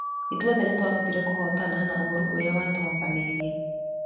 Ithuothe nĩtwahotire kũhotana na ũũru ũrĩa watuhofanĩirĩe.